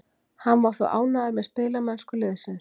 Hann var þó ánægður með spilamennsku liðsins.